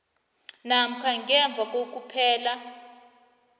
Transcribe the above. namkha ngemva kokuphela